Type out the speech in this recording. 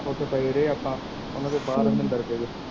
ਪਏ ਰਹੇ ਆਪਾ ਓਹਨੂੰ ਬਾਹਰ ਅੰਦਰ